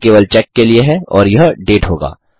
यह केवल चेक के लिए है और यह डेट होगा